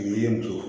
Yiri to